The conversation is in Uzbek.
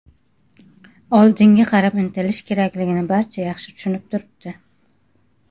Oldinga qarab intilish kerakligini barcha yaxshi tushunib turibdi.